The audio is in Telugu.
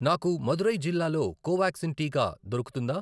నాకు మదురై జిల్లాలో కోవాక్సిన్ టీకా దొరుకుతుందా?